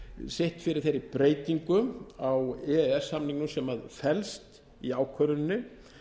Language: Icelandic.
sitt fyrir þeirri breytingu á e e s samningnum sem felst í ákvörðuninni